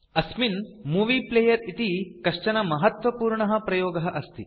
अस्मिन् movie player इति कश्चन महत्वपूर्णः प्रयोगः अस्ति